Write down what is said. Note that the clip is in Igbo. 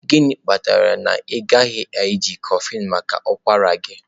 gịnị kpatara na ị gaghị eji kofflin maka ụkwara gị?